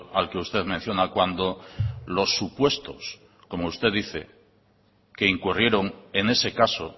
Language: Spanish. al que usted menciona cuando los supuestos como usted dice que incurrieron en ese caso